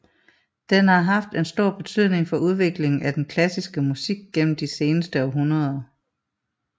Den har haft en stor betydning for udviklingen af den klassiske musik gennem de seneste hundrede år